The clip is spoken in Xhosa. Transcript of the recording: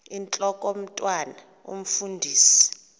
intlok omntwan omfundisi